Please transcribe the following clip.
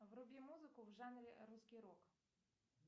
вруби музыку в жанре русский рок